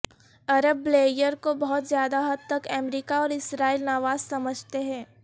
عرب Blair کو بہت زیادہ حد تک امریکہ اور اسرائیل نواز سمجھتے ہیں